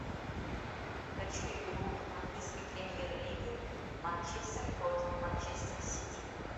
хочу игру английской премьер лиги манчестер против манчестер сити